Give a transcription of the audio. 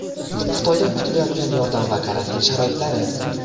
Xitoydan kutilayotgan yordam va karantin sharoitlari.